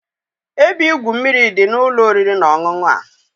Ebe igwu mmiri dị n'ụlọ oriri na ọṅụṅụ a.